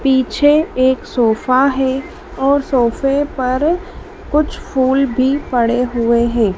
पीछे एक सोफा है और सोफे पर कुछ फूल भी पड़े हुए है।